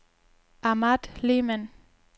Ahmad Lehmann